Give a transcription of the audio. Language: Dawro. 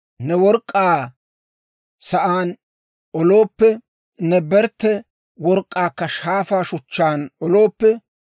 Ne work'k'aa sa'aan olooppe; ne bertte work'k'aakka shaafaa shuchchaan olooppe;